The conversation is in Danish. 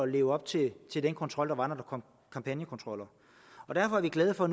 leve op til til den kontrol der var når der kom kampagnekontroller derfor er vi glade for